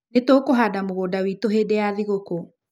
Nĩ tũkũhanda mũgũnda witũ hĩndĩ ya thigũkũ.